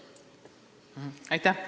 Aitäh!